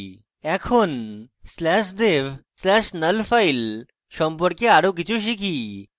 এখন slash dev slash null file সম্পর্কে আরো কিছু শিখি